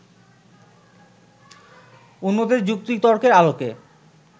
অন্যদের যুক্তি-তর্কের আলোকে